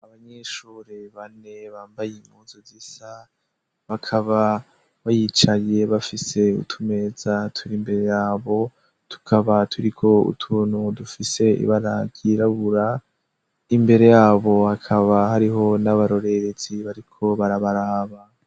Abanyishure bane bambaye imkuzu zisa bakaba bayicaye bafise utumeza turi imbere yabo tukaba turiko utunu dufise ibaragyirabura imbere yabo hakaba hariho n'abarorerezi bariko barabaraba.